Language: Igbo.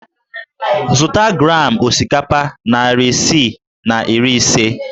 Zụta gram osikapa narị isii na iri ise!